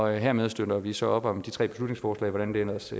hermed støtter vi så op om de tre beslutningsforslag hvordan det ellers